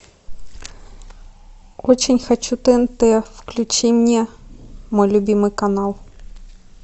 очень хочу тнт включи мне мой любимый канал